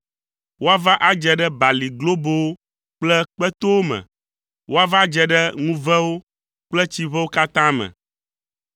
Woava adze ɖe bali globowo kple kpetowo me. Woava dze ɖe ŋuvewo kple tsiʋewo katã me.